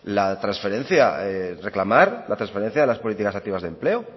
reclamar la transferencia de las políticas activas de empleo